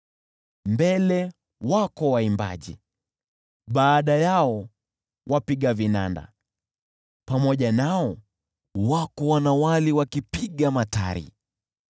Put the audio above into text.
Mbele wako waimbaji, baada yao wapiga vinanda, pamoja nao wako wanawali wakipiga matari.